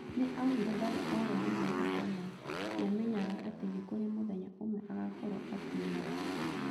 Nĩ augire ndarĩ orwo ni mwĩhoko na nĩamenyaga atĩ nĩ kũrĩ mũthenya ũmwe agakorwo akiumagara.